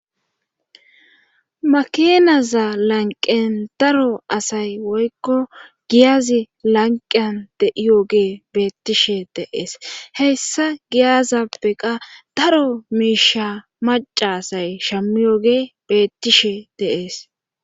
makinaza lanqen daro asay woykko giyazi lanqiyan deiyoge beettishe dee'es hessa giyazappeqa daro miisha maca asay shammiyoge beettishe de'ees